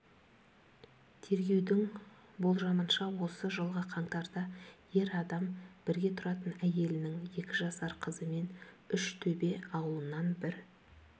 тергеудің болжамынша осы жылғы қаңтарда ер адам бірге тұратын әйелінің екі жасар қызымен үштөбе аулынан бір